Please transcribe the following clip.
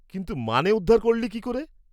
-কিন্তু মানে উদ্ধার করলি কী করে?